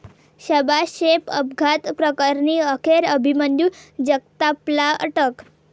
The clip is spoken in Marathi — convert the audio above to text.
शबा शेख अपघात प्रकरणी अखेर अभिमन्यू जगतापला अटक